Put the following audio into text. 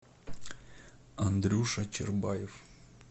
андрюша чербаев